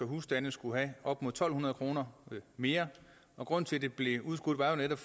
husstande skulle have op mod to hundrede kroner mere og grunden til at det blev udskudt var jo netop